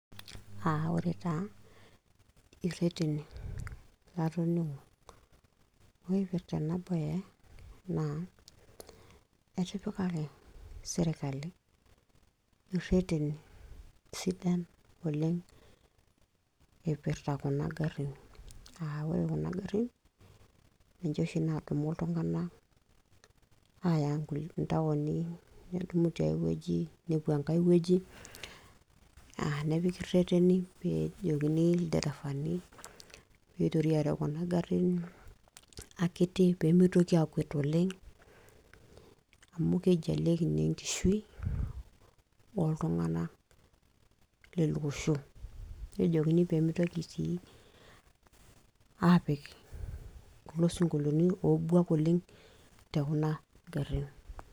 Aaj ore taa ireteni latoningo ipirta ena bae naa etipikaki serkali ireteni kumok oleng ipirta kuna garin ,naa ore kuna garin ninche oshi nadumu ltunganak aya kulie taoni nedumu tenkai wueji nepiki reteni peejokini lderefani mitoki areu kuna garin akiti oleng amu keijalieka naa enkishui lele osho. Nemeitokini apik kulo sinkolioni obuak oleng tekuna garin.